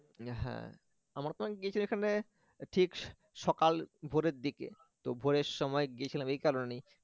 হ্যাঁ আমরা তো গেছি এখানে ঠিক সকাল ভোরের দিকে তো ভোরের সময় গেছিলাম এই কারণে